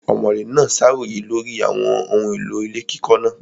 Ọ̀mọ̀lé náà ṣàròyé lórí àwọn ohun èlò ilé kíkọ́ náà.